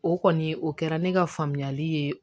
O kɔni o kɛra ne ka faamuyali ye